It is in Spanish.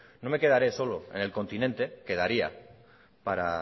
no me quedaré solo en el continente que